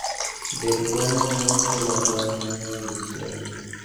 Det-bonyo ma mon golo tong' mang'eny dichiel.